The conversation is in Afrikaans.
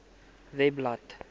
webblad